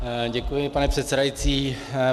Děkuji, pane předsedající.